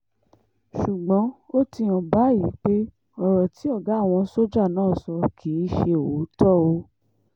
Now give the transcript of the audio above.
ṣùgbọ́n ó ti hàn báyìí pé ọ̀rọ̀ tí ọ̀gá àwọn sójà náà sọ kì í ṣe òótọ́ o